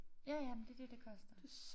Ja ja men det det det koster